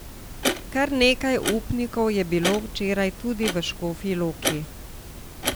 Kar nekaj upnikov je bilo včeraj tudi v Škofji Loki.